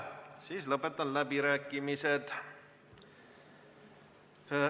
Siis lõpetan läbirääkimised.